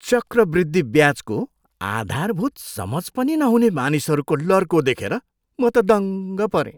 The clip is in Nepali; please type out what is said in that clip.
चक्रवृद्धि ब्याजको आधारभूत समझ पनि नहुने मानिसहरूको लर्को देखेर म त दङ्ग परेँ।